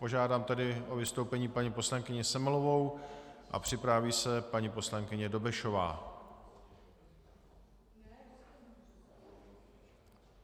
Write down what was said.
Požádám tedy o vystoupení paní poslankyni Semelovou a připraví se paní poslankyně Dobešová.